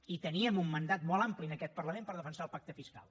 i teníem un mandat molt ampli en aquest parlament per defensar el pacte fiscal